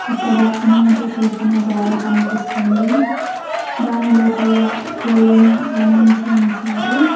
ఇక్కడ ఇనుముతో చేసిన జాల కనిపిస్తుంది దాని లోపల కోళ్లను బంధించి ఉంచారు.